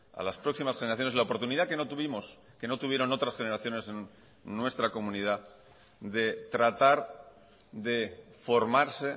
a las próximas generaciones la oportunidad que no tuvimos que no tuvieron otras generaciones en nuestra comunidad de tratar de formarse